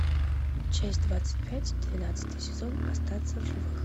часть двадцать пять двенадцатый сезон остаться в живых